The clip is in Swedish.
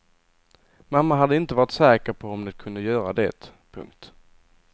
Mamma hade inte varit säker på om de kunde göra det. punkt